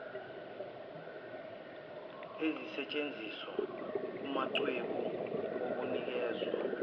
ezisentshenziswa kumachweba okunikezwa